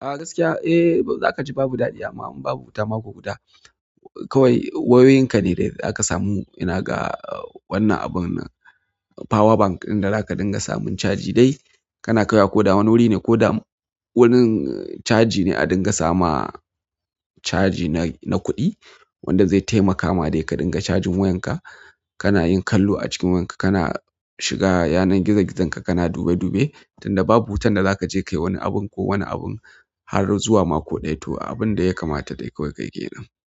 A gaskiya zaka ji babu daɗi amma in babu wuta mako guda. Kawai wayoyinka ne da za ka samu. Ina ga wannan abun power bank ɗin da zaka dinga samun caji dai kana kaiwa ko da wani wuri ne ko da wurin caji ne a dinga sama caji na kuɗi wanda zai taimaka ma dai ka dinga cajin wayanka. Kana yin kallo a cikin wayanka kana shiga yanar gizogizonka kana dube dube tun da babu wutan da za ka je kayi wani abun ko wani abun har zuwa mako ɗaya toh abun da ya kamata dai kawai ka yi ke nan.